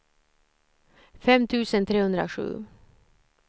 fem tusen trehundrasju